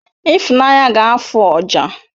Ifunanya ga-afụ ọjà